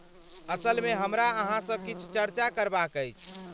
असलमे हमरा अहाँ सँ किछु चर्चा करबा क अछि।